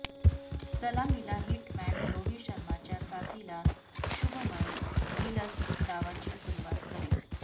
सलामीला हिटमॅन रोहित शर्माच्या साथिला शुभमन गिलच डावाची सुरूवात करेल